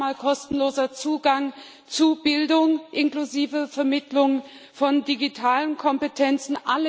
Das ist einmal kostenloser Zugang zu Bildung, inklusive Vermittlung von digitalen Kompetenzen.